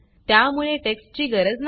त्यामुळे टेक्स्टची गरज नाही